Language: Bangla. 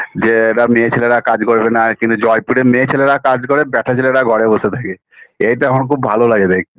যে এ মেয়েছেলেরা কাজ করবে না কিন্তু জয়পুরে মেয়ে ছেলেরা কাজ করে আর ব্যাটা ছেলেরা ঘরে বসে থাকে এটা আমার খুব ভালো লাগে দেখতে